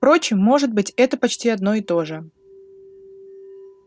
впрочем может быть это почти одно и то же